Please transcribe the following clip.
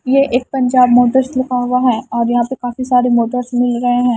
ये एक पंजाब मोटर्स लिखा हुआ है और यहां पे काफी सारे मोटर्स मिल रहे हैं।